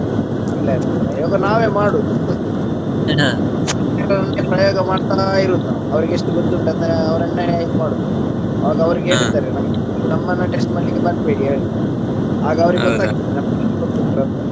ಇಲ್ಲ ಇಲ್ಲಾ ಪ್ರಯೋಗ ನಾವೇ ಮಾಡುವುದು ಪ್ರಯೋಗ ಮಾಡ್ತಾ ಇರೋದು ನಾವು ಅವರಿಗೆ ಎಷ್ಟು ಗೊತ್ತು ಉಂಟು ಅಂತಾ ಅವರನ್ನೇ ಇದು ಮಾಡುವುದು ನಾವು ಆಗ ಅವರು ಹೇಳಿ ಬಿಡ್ತಾರೆ ನಮ್ಗೆ ನೀವ ನಮ್ಮನ್ನೆ test ಮಾಡಲಿಕ್ಕೆ ಬರ್ಬೇಡಿ ಹೇಳ್ತಾರೆ ಆಗ ಅವರಿಗೆ ಗೊತ್ತಾಗ್ತದೆ ಗೊತ್ತುಂಟು ಅಂತ.